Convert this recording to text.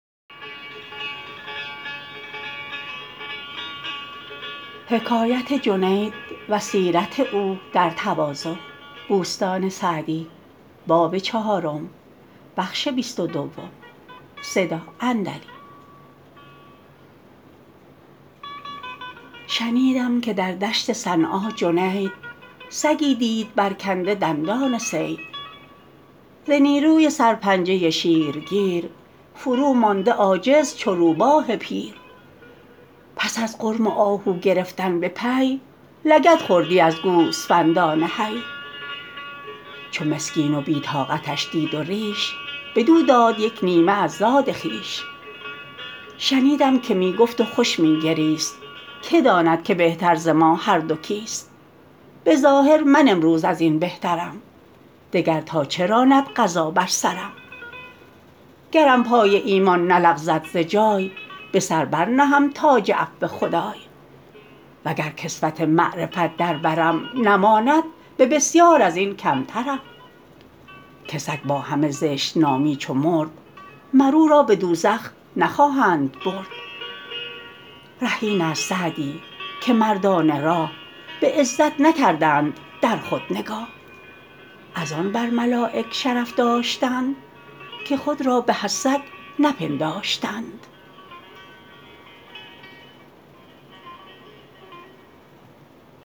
شنیدم که در دشت صنعا جنید سگی دید برکنده دندان صید ز نیروی سر پنجه شیر گیر فرومانده عاجز چو روباه پیر پس از غرم و آهو گرفتن به پی لگد خوردی از گوسفندان حی چو مسکین و بی طاقتش دید و ریش بدو داد یک نیمه از زاد خویش شنیدم که می گفت و خوش می گریست که داند که بهتر ز ما هر دو کیست به ظاهر من امروز از این بهترم دگر تا چه راند قضا بر سرم گرم پای ایمان نلغزد ز جای به سر بر نهم تاج عفو خدای وگر کسوت معرفت در برم نماند به بسیار از این کمترم که سگ با همه زشت نامی چو مرد مر او را به دوزخ نخواهند برد ره این است سعدی که مردان راه به عزت نکردند در خود نگاه از‍‍‍‍‍‍‍‍ آن بر ملایک شرف داشتند که خود را به از سگ نپنداشتند